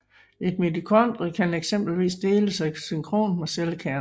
Et mitokondrie kan eksempelvis dele sig synkront med cellekernen